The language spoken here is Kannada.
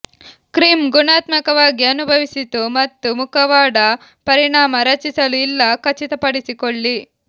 ಕ್ರೀಮ್ ಗುಣಾತ್ಮಕವಾಗಿ ಅನುಭವಿಸಿತು ಮತ್ತು ಮುಖವಾಡ ಪರಿಣಾಮ ರಚಿಸಲು ಇಲ್ಲ ಖಚಿತಪಡಿಸಿಕೊಳ್ಳಿ